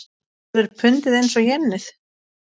Verður pundið eins og jenið?